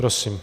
Prosím.